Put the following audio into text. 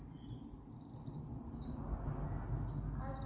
आज,